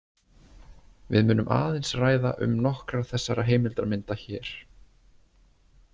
Við munum aðeins ræða um nokkrar þessara heimildarmynda hér.